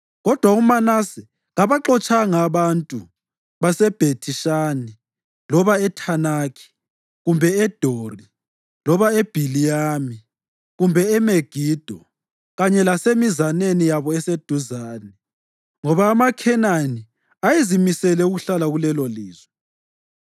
Kodwa uManase kabaxotshanga abantu baseBhethi-Shani loba eThanakhi kumbe eDori loba e-Ibhiliyami kumbe eMegido kanye lasemizaneni yabo eseduzane, ngoba amaKhenani ayezimisele ukuhlala kulelolizwe.